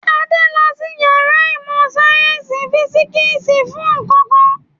Adé lọ sí ìyàrá ìmọ̀-sáyẹ́ńsì físíkísì fún nǹkan kan.